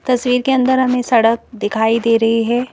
तस्वीर के अंदर हमें सड़क दिखाई दे रही है।